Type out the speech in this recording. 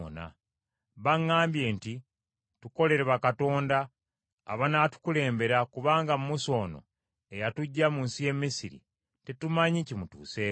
Baŋŋambye nti, ‘Tukolere bakatonda abanaatukulembera kubanga Musa ono eyatuggya mu nsi y’e Misiri, tetumanyi kimutuuseeko.’